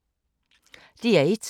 DR1